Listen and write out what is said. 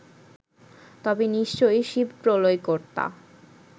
তবে নিশ্চয়ই শিব প্রলয়কর্তা